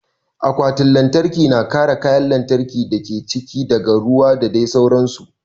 Akwatin lantarki na kare kayan lantarkin dake cikin ta daga ruwa da dai sauran su